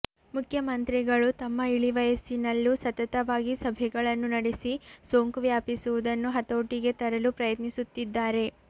ಮುಖ್ಯಮಂತ್ರಿಗಳು ತಮ್ಮ ಇಳಿ ವಯಸ್ಸಿನಲ್ಲೂ ಸತತವಾಗಿ ಸಭೆಗಳನ್ನು ನಡೆಸಿ ಸೋಂಕು ವ್ಯಾಪಿಸುವುದನ್ನು ಹತೋಟಿಗೆ ತರಲು ಪ್ರಯತ್ನಿಸುತ್ತಿದ್ದಾರೆ